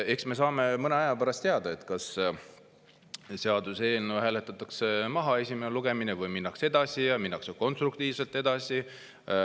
Eks me saame mõne aja pärast teada, kas seaduseelnõu hääletatakse maha esimesel lugemisel või minnakse edasi, ja minnakse konstruktiivselt edasi.